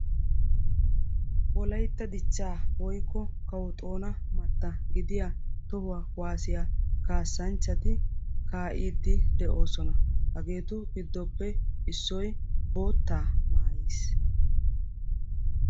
wolaytaa dichcha woykko kawo xoona matta gidiyaa toho kuwassiya kassanchchati kaa'idi de'oosona. hageetu gidoppe issoy boota maayiis.